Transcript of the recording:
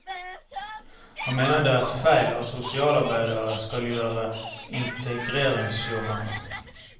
Han mener det er feil at sosialarbeidere skal gjøre integreringsjobbben.